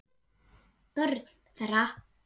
Börn þeirra.